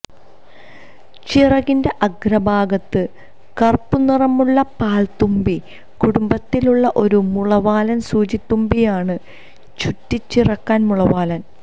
ചിറകിന്റെ അഗ്രഭാഗത്ത് കറുപ്പു നിറമുള്ള പാൽത്തുമ്പി കുടുംബത്തിൽ ഉള്ള ഒരു മുളവാലൻ സൂചിത്തുമ്പിയാണ് ചുട്ടിച്ചിറകൻ മുളവാലൻ